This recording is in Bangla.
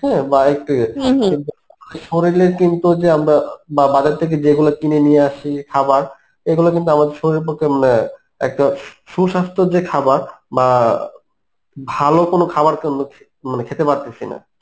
হ্যাঁ, বা একটু শরীলের কিন্তু যে আমরা বা~ বাজার থেকে যেগুলা কিনে নিয়ে আসি খাবার এগুলো কিন্তু আমাদের শরীরের পক্ষে অ্যাঁ একদম সুস্বাস্থ্য যে খাবার বা ভালো কোন খাবার কিন্তু খেহ~ মানে খেতে পারতেছি না